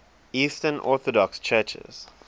eastern orthodox churches